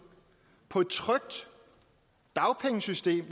på et trygt dagpengesystem